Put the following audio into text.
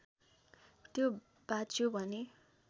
त्यो बाँच्यो भने